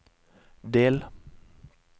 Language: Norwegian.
del